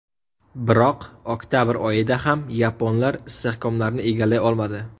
Biroq oktabr oyida ham yaponlar istehkomlarni egallay olmadi.